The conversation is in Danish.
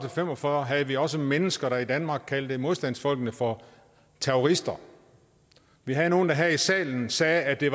fem og fyrre havde vi også mennesker der i danmark kaldte modstandsfolkene for terrorister vi havde nogle der her i salen sagde at det